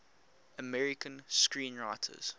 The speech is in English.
american screenwriters